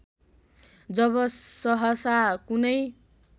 जब सहसा कुनै